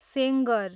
Sengar